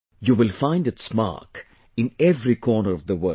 You will find its mark in every corner of the world